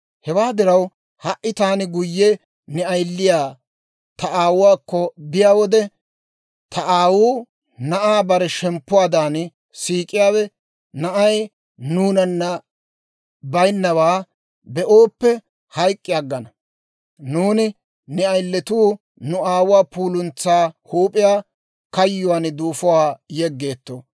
«Hewaa diraw, ha"i taani guyye ne ayiliyaa ta aawuwaakko biyaa wode, ta aawuu, na'aa bare shemppuwaadan siik'iyaawe, na'ay nuunana baynnaawaa be'ooppe hayk'k'i aggana. Nuuni ne ayiletuu nu aawuwaa puuluntsaa huup'iyaa kayyuwaan duufuwaan yeggeetto.